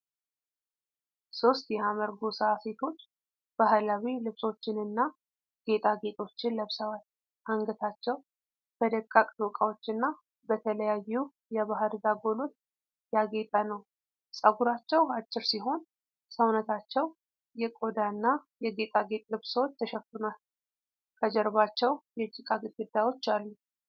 ሦስት የሀመር ጎሳ ሴቶች ባህላዊ ልብሶችንና ጌጣጌጦችን ለብሰዋል። አንገታቸው በደቃቅ ዶቃዎች እና በተለያዩ የባሕር ዛጎሎች ያጌጠ ነው። ጸጉራቸው አጭር ሲሆን፣ ሰውነታቸው የቆዳና የጌጣጌጥ ልብሶች ተሸፍኗል። ከጀርባቸው የጭቃ ግድግዳዎች አሉ።